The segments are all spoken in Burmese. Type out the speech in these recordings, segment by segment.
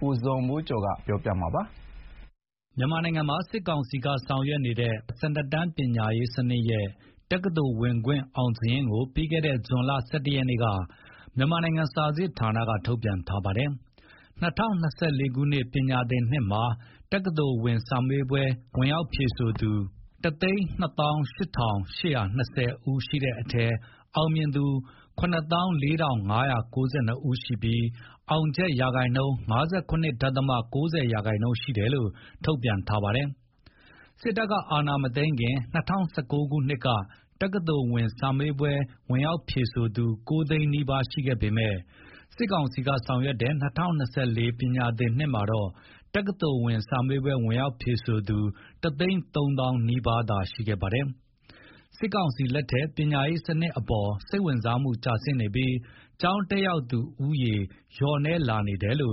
ကိုဇော်မိုးကျော်က တင်ပြပေးထားပါတယ်။ မြန်မာနိုင်ငံမှာ စစ်ကောင်စီက ဆောင်ရွက်တဲ့ ၁၂ တန်း ပညာရေးစနစ်ရဲ့ တက္ကသိုလ်ဝင်ခွင့် အောင်စာရင်းကို ပြီးခဲ့တဲ့ ဇွန် ၁၁ ရက်နေ့က မြန်မာနိုင်ငံစာစစ်ဌာနက ထုတ်ပြန်ထားပါတယ်။ ၂၀၂၄ ပညာသင်နှစ်မှာ တက္ကသိုလ်ဝင်စာမေးပွဲ ဝင်ရောက်ဖြေဆိုသူ ၁၂၈,၈၂၀ ဦးရှိတဲ့အထဲ အောင်မြင်သူ ၇၄,၅၉၂ ရှိပြီး အောက်ချက် ရာခိုင်နှုန်းက ၅၇.၉၀ ရာခိုင်နှုန်း ရှိတယ်လို့ ထုတ်ပြန်ထားပါတယ်။ စစ်အာဏာမသိမ်းခင်က ၂၀၁၉ ခုနှစ်က တက္ကသိုလ်ဝင်စာမေးပွဲ ဝင်ရောက်ဖြေဆိုသူ ၉ သိန်းနီးပါးရှိခဲ့ပေမယ့် စစ်ကောင်စီလက်ထက် ၂၀၂၄ ပညာသင်နှစ်မှာတော့ တက္ကသိုလ်ဝင်စာမေးပွဲ ဝင်ရောက်ဖြေဆိုသူ တ သိန်းသုံးသောင်းနီးပါးသာ ရှိခဲ့ပါတယ်။ စစ်ကောင်စီလက်ထက် ပညာရေးစနစ်အပေါ် စိတ်ဝင်စားမှုကျဆင်းနေပြီး ကျောင်းတက်ရောက်သူ ဦးရေလည်း လျှော့နည်းနေတာပါ။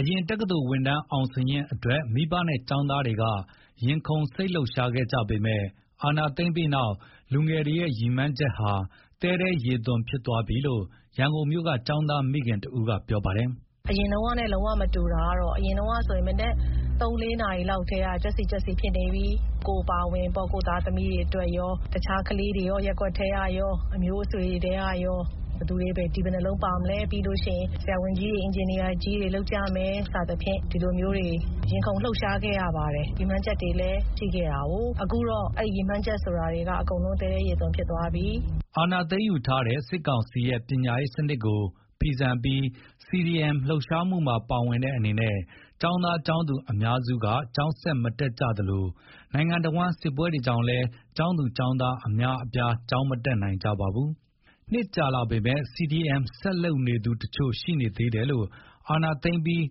အရင်က တက္ကသိုလ်ဝင်တန်း အောင်စာရင်းအတွက် မိဘနဲ့ ကျောင်သားတွေက ရင်ခုန်စိတ်လှုပ်ရှားခဲ့ကြပေမယ့် အာဏာသိမ်းပြီးတဲ့နောက် လူငယ်တွေရဲ့ ရည်မှန်းချက်ဟာ သဲထဲရေသွန်ဖြစ်သွားပြီလို့ ရန်ကုန်မြို့က ကျောင်းသားမိခင်တဦးက အခုလို ပြောပါတယ်။ “အရင်တုန်းကနဲ့ လုံးဝမတူတာကတော့ အရင်တုန်းကဆိုရင် မနက် ၃၊ ၄ နာရီလောက်တည်းက ကျွက်က်စိကျွက်စိတွေဖြစ်နေပြီ။ ကိုယ်အပါအဝင်ပေါ့။ ကိုယ့်သားသမီးတွေအတွက်ရော၊ တခြားကလေးတွေရော၊ ရပ်ကွက်ထဲကရော၊ အမျိုးအဆွေထဲကရော၊ ဘယ်သူတွေ D ဘယ်နှလုံးပါမလဲ၊ ပြီးလို့ရှိရင် ဆရာဝန်ကြီးတွေ၊ အင်ဂျင်နီယာကြီးတွေ လုပ်ကြမယ် စသဖြင့် ဒီလိုမျိုးတွေ ရင်ခုန်လှုပ်ရှားခဲ့ရပါတယ်။ ရည်မှန်းချက်တွေလည်း ရှိခဲ့တာ။ အခုကတော့ အဲ့ရည်မှန်းချက်ဆိုတာက အကုန်လုံးပျက်သွားပြီ။” အာဏာသိမ်းယူထားတဲ့ စစ်ကောင်စီရဲ့ ပညာရေးစနစ်ကို ဖီဆန်ပြီး CDM လှုပ်ရှားမှုမှာ ပါဝင်တဲ့အနေနဲ့ ကျောင်းသား၊ ကျောင်းသူအများစုက ကျောင်းဆက်မတက်ကြသလို နိုင်ငံတဝန်း စစ်ပွဲတွေကြောင့်လည်း ကျောင်းသူ၊ ကျောင်သားအများအပြား ကျောင်းမတက်နိုင်ကြပါဘူး။ နှစ်ကြာလာပေမယ့် CDM ဆက်လုပ်နေသူတချို့ရှိနေသေးတယ်လို့ အာဏာသိမ်းပြီး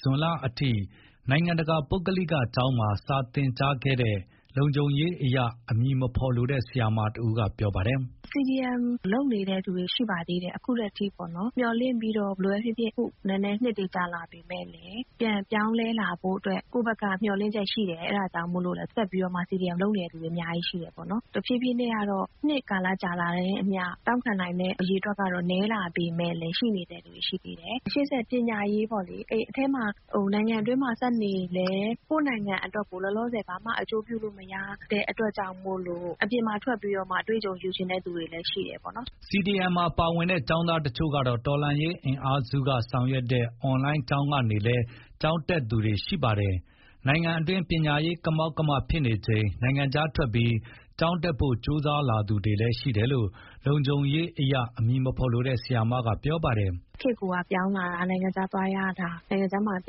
ဇွန်လအထိ နိုင်ငံတကာပုဂ္ဂလိကကျောင်းမှာ စာသင်ကြားခဲ့တဲ့ လုံခြုံရေးအရေး အမည်မဖော်လိုတဲ့ ဆရာမတဦးက ပြောပါတယ်။ “CDM လုပ်နေတဲ့ လူတွေ ရှိပါသေးတယ်။ အခုထက်ထိပေါ့နော်၊ မျှော်လင့်ပြီးတော့ ဘယ်လိုပဲဖြစ်ဖြစ် အခု နည်းနည်းနှစ်တွေ ကြာလာပေမယ့်လည်း ပြန်ပြောင်းလဲလာဖို့အတွက် ကိုယ့်ဘက်က မျှော်လင့်ချက်ရှိတယ်။ အဲ့ဒါကြောင့်မို့လို့လည်း ဆက်ပြီးတော့မှ CDM လုပ်နေတဲ့သူတွေ အများကြီးတယ်ပေါ့နော်။ တဖြေးဖြေးနဲ့က နှစ်ကာလကြာလာတာနဲ့အမျှ တောင့်နိုင်တဲ့ အရေအတွက်က နည်းလာပေမယ့်လည်း ရှိတဲ့လူတွေ ရှိသေးတယ်။ ရှေ့ဆက်ပညာရေးပေါ့လေ။ အထဲမှာ နိုင်ငံအတွင်းမှာ ဆက်နေလည်း ကိုယ့်နိုင်ငံအတွက်ကို လောလာဆယ် ဘာမှအကျိုးပြုလို့မရတဲ့အတွက်ကြောင့်မို့လို့ အပြင်မှာထွက်ပြီးတော့မှ အတွေ့အကြုံယူချင်တဲ့သူတွေလည်း ရှိတယ်ပေါ့နော်။” CDM မှာ ပါဝင်တဲ့ ကျောင်းသားတချို့ကတော့ တော်လှန်ရေးအင်အားစုက ဆောင်ရွက်တဲ့ အွန်လိုင်းကျောင်းကနေလည်း ကျောင်းတက်သူတွေ ရှိပါတယ်။ နိုင်ငံအတွင်း ပညာရေးကမောက်ကမ ဖြစ်နေချိန် နိုင်ငံခြားထွက်ပြီး ကျောင်းတက်ဖို့ ကြိုးစားလာသူတွေလည်းရှိတယ်လို့ လုံခြုံရေးအရေး အမည်မဖော်လိုတဲ့ ဆရာမက ပြောပါတယ်။ “ခေတ်ကိုကပြောင်းလာတာ နိုင်ငံခြားသွားရတာ နိုင်ငံခြားမှာ ပ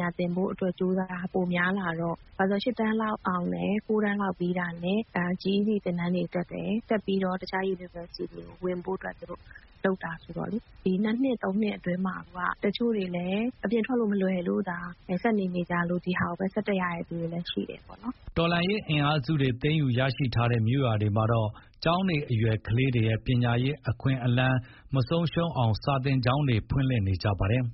ညာသင်ဖို့အတွက် ကြိုးစားတာပိုများလာတော့၊ ဘာလို့ဆို ၈ တန်းလောက် အောင်မယ်။ ၉တန်းလောက်ပြီးတာနဲ့ GED သင်တန်းတွေ တက်တယ်။ တက်ပြီးတော့ တခြား University တွေကို ဝင်ဖို့အတွက် သူတို့လုပ်တာဆိုတော့လေ။ ဒီ နှစ်နှစ် သုံးနှစ်အတွင်းမှာ တချို့တွေလည်း အပြင်ထွက်လို့ မလွယ်လို့သာ ဆက်နေနေကြလို့။ ဒီဟာကိုပဲ ဆက်တက်ရတဲ့သူတွေလည်း ရှိတယ်ပေါ့နော်။” တော်လှန်ရေးအင်အားစုတွေ သိမ်းယူရရှိထားတဲ့ မြို့ရွာတွေမှာတော့ ကျောင်းနေအရွယ် ကလေးတွေရဲ့ ပညာရေး အခွင့်အလမ်း မဆုံးရှုံးအောင် စာသင်ကျောင်းတွေ ဖွင့်လှစ်နေကြပါတယ်။